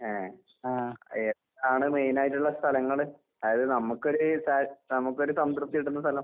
ഏഹ്. ഏതാണ്‌ മെയിനായിട്ടുള്ള സ്ഥലങ്ങള്? അതായത് നമ്മക്കൊര് സ നമുക്കൊര് സംതൃപ്തി കിട്ടുന്ന സ്ഥലം?